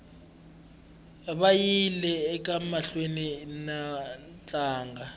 vayile emahlweni niku tlanga